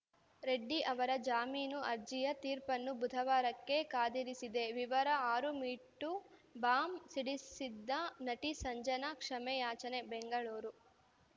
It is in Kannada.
ರೆಡ್ಡಿ ಅವರ ಜಾಮೀನು ಅರ್ಜಿಯ ತೀರ್ಪನ್ನು ಬುಧವಾರಕ್ಕೆ ಕಾದಿರಿಸಿದೆ ವಿವರ ಆರು ಮೀ ಟೂ ಬಾಂಬ್‌ ಸಿಡಿಸಿದ್ದ ನಟಿ ಸಂಜನಾ ಕ್ಷಮೆಯಾಚನೆ ಬೆಂಗಳೂರು